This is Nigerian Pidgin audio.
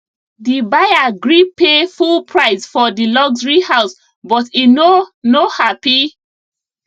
the buyer gree pay full price for the luxury house but e no no happy